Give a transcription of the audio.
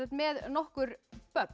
með nokkur